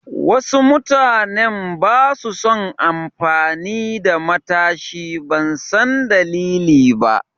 Wasu mutanen basa son amfani da matashi, ban san dalili ba.